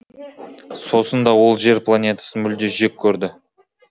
сосын да ол жер планетасын мүлде жек көрді